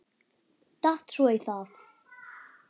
Datt svo í það.